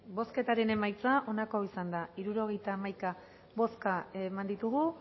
bai bale bozketaren emaitza onako izan da hirurogeita hamaika eman dugu